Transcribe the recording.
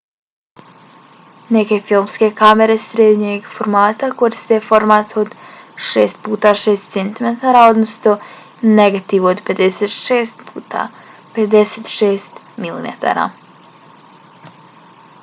neke filmske kamere srednjeg formata koriste format od 6x6 cm odnosno negativ od 56x56 mm